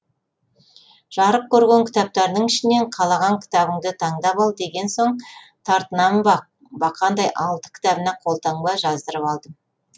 жарық көрген кітаптарының ішінен қалаған кітабыңды таңдап ал деген соң тартынамын ба бақандай алты кітабына қолтаңба жаздырып алдым